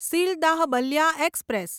Sealdah Ballia express